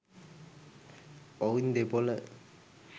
ඔවුන් දෙපොල